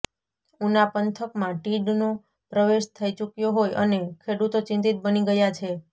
ઊના પંથકમાં તીડનો પ્રવેશ થઇ ચુક્યો હોય અને ખેડૂતો ચિંતીત બની ગયા છે